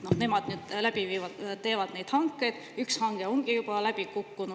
Nemad nüüd teevad neid hankeid, üks hange ongi juba läbi kukkunud …